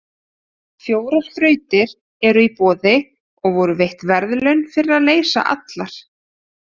Fjórar þrautir eru í boði og voru veitt verðlaun fyrir að leysa allar.